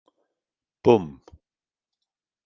Búmm!